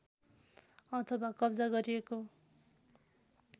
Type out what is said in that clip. अथवा कब्जा गरिएको